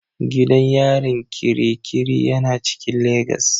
Gidan yarin Kirikiri yana cikin legas.